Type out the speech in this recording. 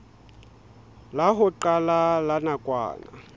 la ho qala la nakwana